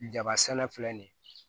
Jaba sɛnɛ filɛ nin ye